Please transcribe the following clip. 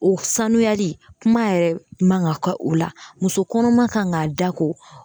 O sanuyali kuma yɛrɛ man kan ka kɛ o la muso kɔnɔma kan ka da ko